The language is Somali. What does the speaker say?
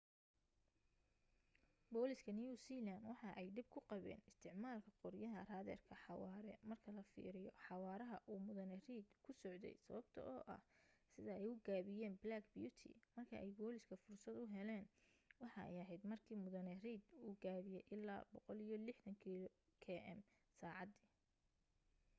booliska new zealand waxa ay dhib ku qabeyn isticmaalka qoryaha raaderka xawaare marka la fiiriyo xawaaraha uu mudane reid ku socday sababto ah sida ay u gaabiyan black beauty marka ay booliska fursad uheleyn waxa ay aheyd marka mudane reid uu gaabiye ilaa 160km/sacadi